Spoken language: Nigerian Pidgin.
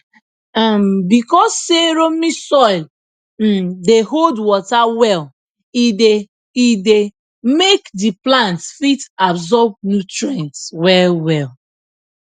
um because say loamy soil um dey hold water well e dey e dey make the plants fit absorb nutrients well well